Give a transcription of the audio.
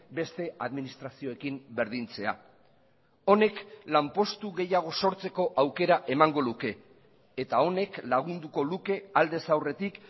beste administrazioekin berdintzea honek lanpostu gehiago sortzeko aukera emango luke eta honek lagunduko luke aldez aurretik